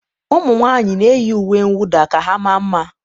ụmụnwaanyị na-eyi uwe mwụda ka ha maa mma